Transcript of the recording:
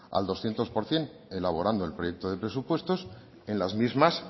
al doscientos por ciento elaborando el proyecto de presupuestos en las mismas